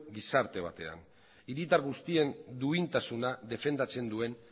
gizarte batean hiritar guztien duintasuna defendatzen duen